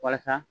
Walasa